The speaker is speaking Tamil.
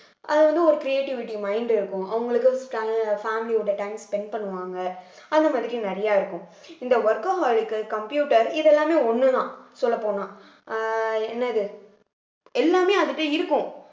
அது வந்து ஒரு creativity mind இருக்கும் அவங்களுக்கு family யோட time spend பண்ணுவாங்க அந்த மாதிரி நிறைய இருக்கும் இந்த workaholic க்கு computer இதெல்லாமே ஒண்ணுதான் சொல்லப் போனா அஹ் என்னது எல்லாமே அது கிட்ட இருக்கும்